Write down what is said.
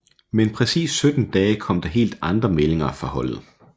Men præcist 17 dage kom der helt andre meldinger fra holdet